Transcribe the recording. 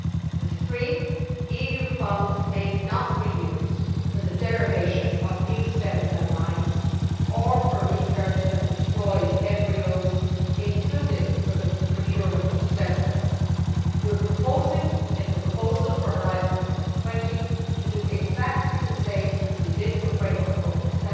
and thirdly, EU funds may not be used for the derivation of new stem cell lines or for research that destroys embryos, including for the procurement of stem cells. We are proposing, in the proposal for Horizon 2020, to do exactly the same as we did for Framework Programme